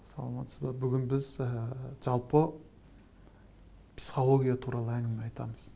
саламатсыз ба бүгін біз ы жалпы психология туралы әңгіме айтамыз